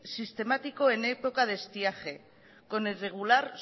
sistemático en época de estiaje con el regular